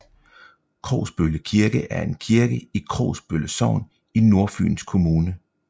Krogsbølle Kirke er en kirke i Krogsbølle Sogn i Nordfyns Kommune